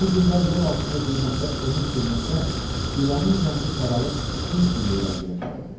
Yüz illər yeraltında zülmətdə ömür sürməkdən ilanın rəngi saralıb fil sümüyü rənginə çalırdı.